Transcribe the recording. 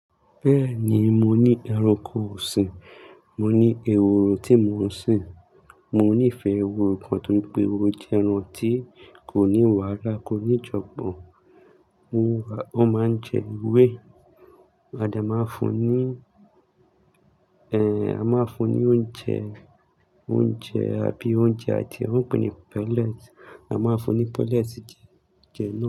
Bẹ́ẹ̀ni, mo ní ẹranko ọ̀sìn, mo ní ehoro tí mò ń sìn. Mo nífẹ̀ẹ́ ehoro gan-an torí pé ehoro jẹ́ ẹran tí kò ní wàhálà, kò ní ìjọgbọ̀n. Ó máa ń jẹ ewé. A de máa fún un ní, a máa fún un ní oúnjẹ, oúnjẹ àbí oúnjẹ àti ohun ìpínni pellet. A máa fún un ní pellet jẹ, jẹ nan.